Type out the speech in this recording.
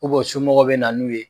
u somɔgɔw bɛ na n'u ye.